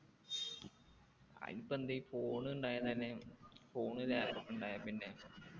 അയിനിപ്പോ എന്തെ phone ഉണ്ടായാലെന്നെ phone ലാ ഉണ്ടായേപ്പിന്നെ